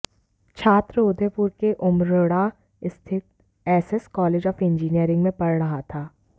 छात्र उदयपुर के उमरड़ा स्थित एसएस कॉलेज ऑफ इंजीनियरिंग में पढ़ रहा था